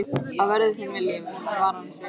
Að verði þinn vilji, var hans vilji einnig.